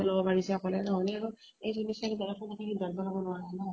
পাৰিছে অকলে নহলে আৰু এজনী ছোৱালী ডাঙৰ লাগি ল্'ব নোৱাৰা ন।